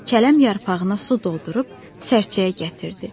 Kələm yarpağına su doldurub sərçəyə gətirdi.